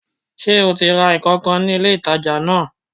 Sé o ti ra nkan kan ní ilé ìtajà náà